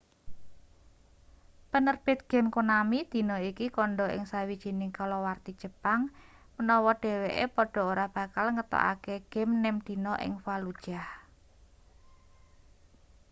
penerbit game konami dina iki kandha ing sawijining kalawarti jepang menawa dheweke padha ora bakal ngetokake game nem dina ing fallujah